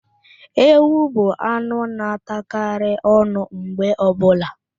Ewu bụ anụ na- atagharị ọnụ mgbe ọbụla.